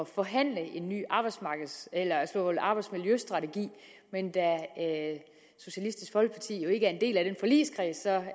forhandle en ny arbejdsmiljøstrategi men da socialistisk folkeparti jo ikke er en del af den forligskreds er